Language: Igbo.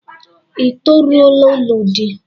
I toruola ilu di?